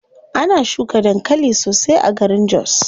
Ana shuka dankali sosai a garin jos.